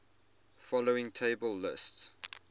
following table lists